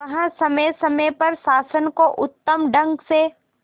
वह समय समय पर शासन को उत्तम ढंग से